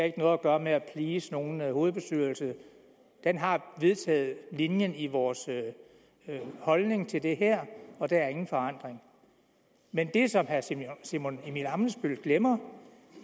ikke noget at gøre med at please nogen hovedbestyrelse den har vedtaget linjen i vores holdning til det her og der er ingen forandring men det som herre simon simon emil ammitzbøll glemmer